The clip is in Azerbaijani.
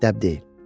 Dəb deyil.